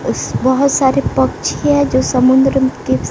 उस बहोत सारे पक्षी है जो समुद्र के--